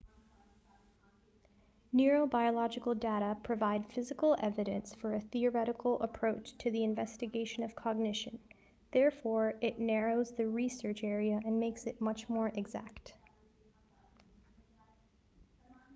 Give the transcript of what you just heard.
neurobiological data provide physical evidence for a theoretical approach to the investigation of cognition therefore it narrows the research area and makes it much more exact